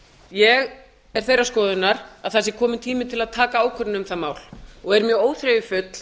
ég er þeirrar skoðunar að það sé kominn tími til að taka ákvörðun um það mál og er mjög óþreyjufull